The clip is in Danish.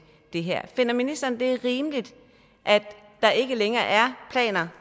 det her finder ministeren det er rimeligt at der ikke længere er planer